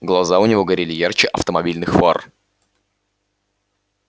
глаза у него горели ярче автомобильных фар